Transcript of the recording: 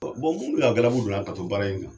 Bon minnu y'a galabu bila k'a to baara in na.